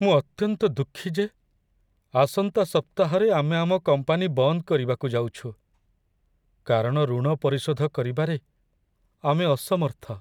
ମୁଁ ଅତ୍ୟନ୍ତ ଦୁଃଖୀ ଯେ ଆସନ୍ତା ସପ୍ତାହରେ ଆମେ ଆମ କମ୍ପାନୀ ବନ୍ଦ କରିବାକୁ ଯାଉଛୁ, କାରଣ ଋଣ ପରିଶୋଧ କରିବାରେ ଆମେ ଅସମର୍ଥ ।